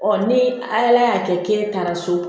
ni ala y'a kɛ k'e taara so